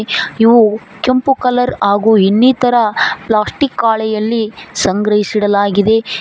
ಇವು ಕೆಂಪು ಕಲರ್ ಹಾಗು ಇನ್ನಿತರ ಪ್ಲಾಸ್ಟಿಕ್ ಹಾಳೆಯಲಿ ಸಂಗ್ರಸಿ ಇಡಲಾಗಿದೆ.